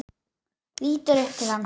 Lítur upp til hans.